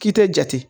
K'i tɛ jate